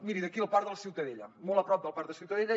miri d’aquí el parc de la ciutadella molt a prop del parc de la ciutadella